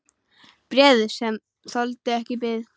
Bréfið, sem þoldi ekki bið